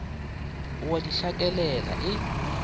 o a di hlakelela e